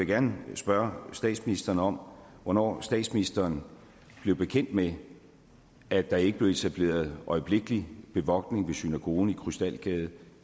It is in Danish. gerne spørge statsministeren om hvornår statsministeren blev bekendt med at der ikke blev etableret øjeblikkelig bevogtning ved synagogen i krystalgade